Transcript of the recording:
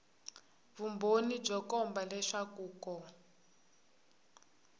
vumbhoni byo komba leswaku ko